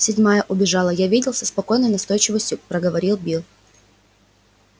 седьмая убежала я видел со спокойной настойчивостью проговорил билл